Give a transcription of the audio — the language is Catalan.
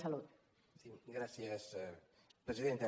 sí gràcies presidenta